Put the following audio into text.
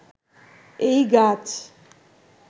এই গাছ